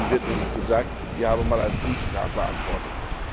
Darin wird nämlich gesagt, es habe einmal einen Brief beantwortet.